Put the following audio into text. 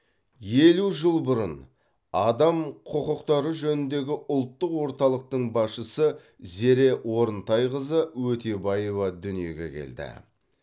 елу жыл бұрын адам құқықтары жөніндегі ұлттық орталықтың басшысы зере орынтайқызы өтебаева дүниеге келді